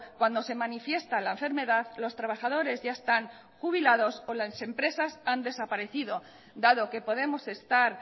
cuando se manifiesta la enfermedad los trabajadores ya están jubilados o las empresas han desaparecido dado que podemos estar